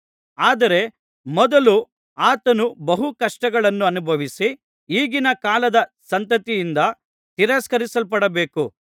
ಆದರೆ ಮೊದಲು ಆತನು ಬಹು ಕಷ್ಟಗಳನ್ನನುಭವಿಸಿ ಈಗಿನ ಕಾಲದ ಸಂತತಿಯಿಂದ ತಿರಸ್ಕರಿಸಲ್ಪಡಬೇಕು